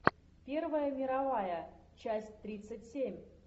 первая мировая часть тридцать семь